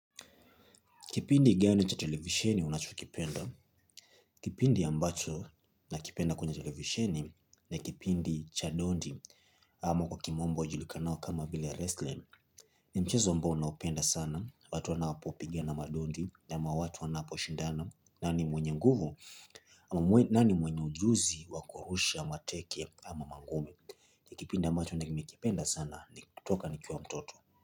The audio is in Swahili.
Kipindi gani cha televisheni unachokipenda? Kipindi ambacho na kipenda kwenye televisheni, ni kipindi cha dondi. Ama kwa kimombo julikanao kama vile wrestling. Ni mchezo ambao naopenda sana. Watu wanapopiga na madondi ama watu wanaposhindana. Nani mwenye nguvu? Nani mwenye ujuzi wakurusha mateke ama mangumi? Kipindi ambacho nimekipenda sana ni kutoka nikiwa mtoto.